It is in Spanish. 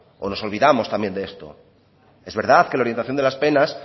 o nos olvidamos también de esto es verdad que la orientación de las penas